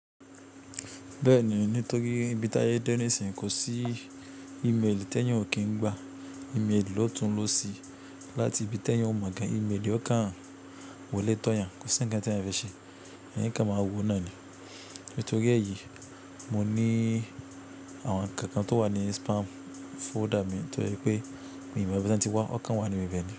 Bẹ́ẹ̀ ni, nítorí ibi táyé dẹ́ nisìn kò sí ímélì tẹeyan o kí ń gba, ímélì ló tún lọ sí láti ibi t'ẹeyan ò mọ̀ gan. Ìmélì ọ̀kan wòlẹ́ tọ̀ọ́ yan kò sí ńkan t'eeyan ń fẹ́ ṣe. Ẹeyan o kan máa wò náà ni. Nítorí èyí, mo ní àwọn ǹkan kan tó wà ní spam folder mi to se pé mí ìmọ̀ ibi ton ti wá won kàn wà níbi ibe ni.